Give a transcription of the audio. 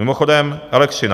Mimochodem elektřina.